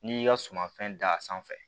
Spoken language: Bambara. N'i y'i ka sumafɛn da sanfɛ